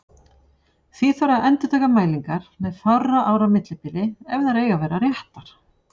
Því þarf að endurtaka mælingar með fárra ára millibili ef þær eiga að vera réttar.